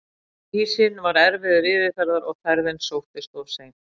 Ísinn var erfiður yfirferðar og ferðin sóttist of seint.